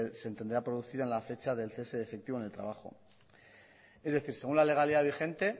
se entenderá producida en la fecha del cese efectivo en el trabajo es decir según la legalidad vigente